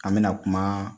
An bɛna kuma